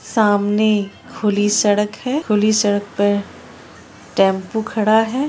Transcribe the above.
सामने खुली सड़क है खुली सड़क पे टेम्पो खड़ा है ।